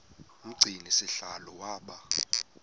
umgcini sihlalo waba